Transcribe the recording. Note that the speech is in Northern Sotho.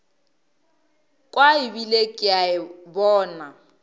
kwa ebile ke a bona